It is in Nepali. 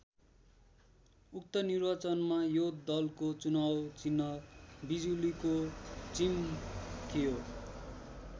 उक्त निर्वाचनमा यो दलको चुनाव चिह्न बिजुलीको चिम थियो।